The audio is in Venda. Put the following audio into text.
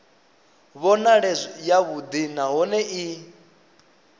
vhonale i yavhuḓi nahone i